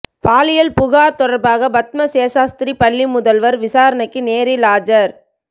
பாலியல் புகார் தொடர்பாக பத்ம சேஷாத்திரி பள்ளி முதல்வர் விசாரணைக்கு நேரில் ஆஜர்